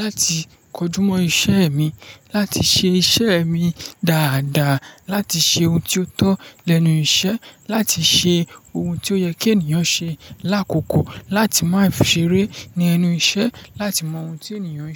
láti kojúmọ́ iṣẹ́ mi, láti ṣe iṣẹ́ mi dáadáa, láti ṣe ohun tí ó tọ́ lẹ́nu iṣẹ́, láti ṣe ohun tí ó yẹ kí ènìyàn ṣe lákòókò, láti má ṣe ré ní ẹnu iṣẹ́, láti mọ ohun tí ènìyàn ń ṣe.